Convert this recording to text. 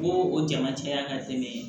Bo o jama caya ka tɛmɛ